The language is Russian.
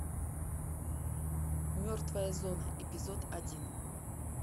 мертвая зона эпизод один